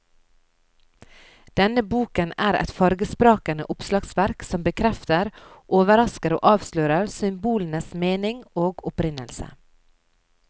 Denne boken er et fargesprakende oppslagsverk som bekrefter, overrasker og avslører symbolenes mening og opprinnelse.